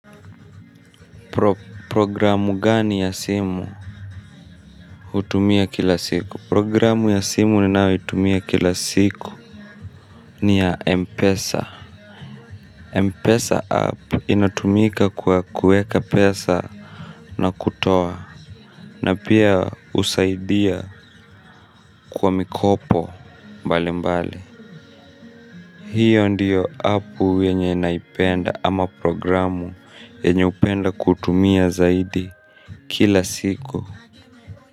Programu gani ya simu utumia kila siku programu ya simu ni nao utumia kila siku ni ya Mpesa Mpesa app inatumika kwa kueka pesa na kutoa na pia usaidia kwa mikopo mbali mbali hiyo ndiyo app yenye naipenda ama programu enye upenda kutumia zaidi kila siku.